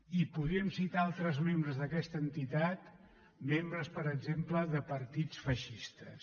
i podríem citar altres membres d’aquesta entitat membres per exemple de partits feixistes